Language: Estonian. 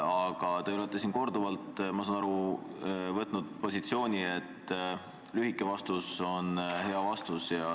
Aga te olete, ma saan aru, võtnud positsiooni, et lühike vastus on hea vastus.